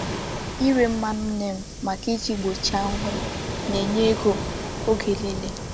Ire mmanu neem maka iji gbochie ahuhu na-enye ego oge nile.